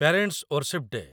parents' worship day